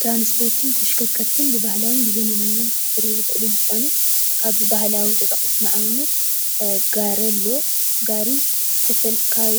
ትራንስፖርትን ተሽከርከርትን ብባህላውን ብዘመናውን ክቐርቡ ዝኽእሉ እንትኾኑ ካብ ባህላዊ ተጠቒስና ንኣብነት ጋሪ ኣሎ ጋሪ